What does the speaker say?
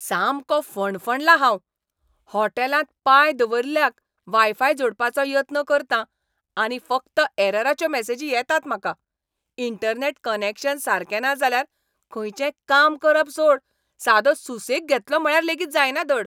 सामको फणफणलां हांव! होटॅलांत पांय दवरिल्ल्याक वायफाय जोडपाचो यत्न करतां आनी फकत ऍरराच्यो मॅसेजी येतात म्हाका. इंटरनॅट कनॅक्शन सारकें ना जाल्यार खंयचेंय काम करप सोड, सादो सुसेग घेतलो म्हळ्यार लेगीत जायना धड.